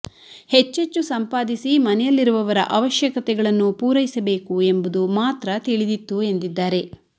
ಹೆಚ್ಚೆಚ್ಚು ಸಂಪಾದಿಸಿ ಮನೆಯಲ್ಲಿರುವವರ ಅವಶ್ಯಕತೆಗಳನ್ನು ಪೂರೈಸಬೇಕು ಎಂಬುದು ಮಾತ್ರ ತಿಳಿದಿತ್ತು ಎಂದಿದ್ದಾರೆ